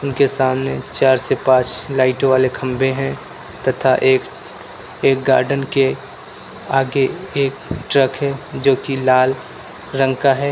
इनके के सामने चार से पांच लाइटों वाले खंभे हैं तथा एक एक गार्डेन के आगे एक ट्रक है जो कि लाल रंग का है।